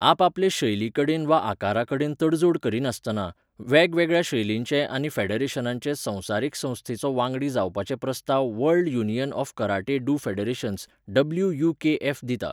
आपापले शैलीकडेन वा आकाराकडेन तडजोड करिनासतना, वेगवेगळ्या शैलिंचे आनी फेडरेशनांचे संवसारीक संस्थेचो वांगडी जावपाचे प्रस्ताव world union of karate do federations, WUKF. दिता.